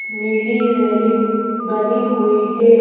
नीली रेलिंग बनी हुई है।